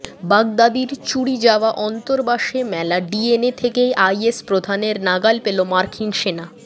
বাগদাদির চুরি যাওয়া অন্তর্বাসে মেলা ডিএনএ থেকেই আইএস প্রধানের নাগাল পেল মার্কিন সেনা